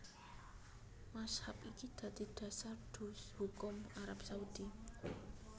Mazhab iki dadi dasar hukum Arab Saudi